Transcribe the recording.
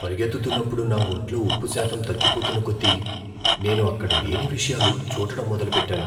పరిగెత్తుతున్నప్పుడు నా ఒంట్లో ఉప్పుశాతం తగ్గిపోతున్న కొద్దీ, నేను అక్కడ లేని విషయాలు చూడటం మొదలుపెట్టాను.